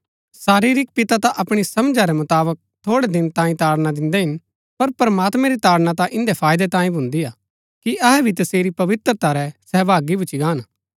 शरीरिक पिता ता अपणी समझा रै मुताबक थोड़ै दिन तांई ताड़ना दिन्दै हिन पर प्रमात्मैं री ताड़ना ता इन्दै फाईदै तांई भुन्दी हा कि अहै भी तसेरी पवित्रता रै सहभागी भुच्‍ची गाहन